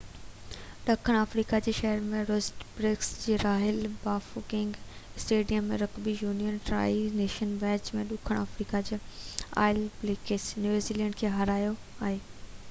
ڏکڻ آفريقا جي شهر روسٽنبرگ جي Royal Bafokeng Stadium ۾ rugby union Tri Nations match ۾ ڏکڻ آفريقا آل بليڪس نيوزي لينڊ کي هارايو آهي